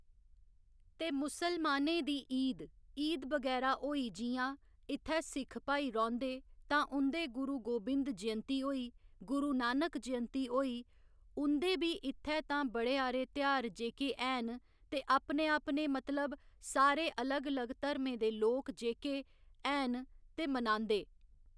ते मुस्लमानें दी ईद, ईद बगैरा होई जि'यां इत्थै सिक्ख भाई रौंह्‌दे तां उं'दे गुरु गोबिंद जयंती होई गुरू नानक जयंती होई उं'दे बी इत्थै तां बड़़े हारे ध्यार जेह्‌के हैन ते अपने अपने मतलब सारे अलग अलग धर्में दे लोक जेह्‌के हैन ते मनांदे